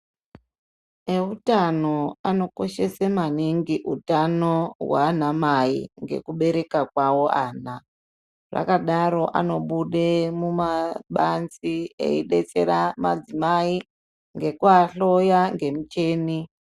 Eutano anokoshese maningi hwanamai ngekubereka kwawo ana zvakadaro vanobude mumabanzi eidetsera madzimai nekuahloya ngemichini.